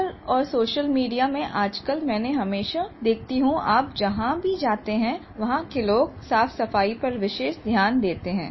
पर और social media में आज कल मैं हमेशा देखती हूँ आप जहाँ भी जाते हैं वहाँ के लोग साफ़सफाई पर विशेष ध्यान देते हैं